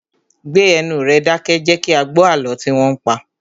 Gbé ẹnu rẹ dákẹ́! Jẹ kí a gbó àlọ́ tí wọn ń pa!